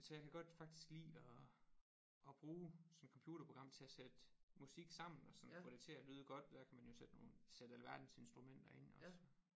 Så jeg kan godt faktisk lide at at bruge sådan et computerprogram til at sætte musik sammen og sådan få det til at lyde godt dér kan man jo sætte nogen sætte alverdens instrumenter ind også